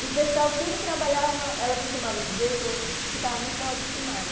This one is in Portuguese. E o pessoal tudo trabalhava, ela costumava dizer que eu que eu estava muito mal acostumada.